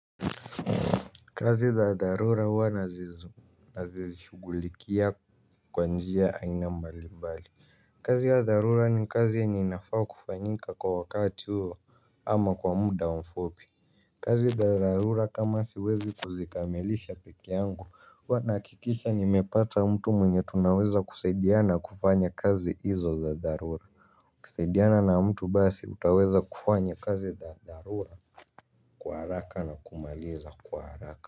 Kazi za dharura huwana zishugulikia kwa njia aina mbalimbali. Kazi ya dharura ni kazi yenye inafaa kufanyika kwa wakati huo ama kwa muda mfupi kazi za dharura kama siwezi kuzikamilisha peke yangu huwa nahakikisha nimepata mtu mwenye tunaweza kusaidiana kufanya kazi hizo za dharura kusaidiana na mtu basi utaweza kufanya kazi za dharura kwa haraka na kumaliza kwa haraka.